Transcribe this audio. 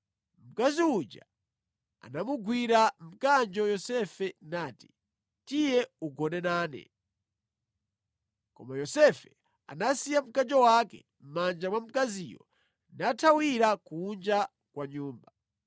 Mkazi uja anamugwira mkanjo Yosefe nati, “Tiye ugone nane!” Koma Yosefe anasiya mkanjo wake mʼmanja mwa mkaziyo nathawira kunja kwa nyumba.